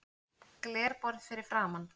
Glerborð fyrir framan.